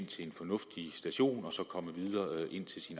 til en fornuftig station og så komme videre ind til